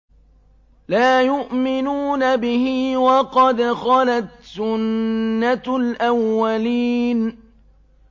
لَا يُؤْمِنُونَ بِهِ ۖ وَقَدْ خَلَتْ سُنَّةُ الْأَوَّلِينَ